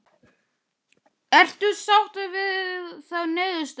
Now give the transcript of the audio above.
Ertu sáttur við þá niðurstöðu?